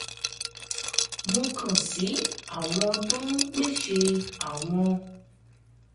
mo kàn sí àwọn tó ń pèsè àwọn